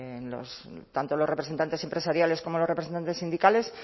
tanto los representantes empresariales como los representantes sindicales